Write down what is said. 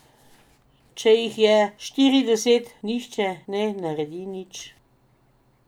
Če jih je štirideset, nihče ne naredi nič.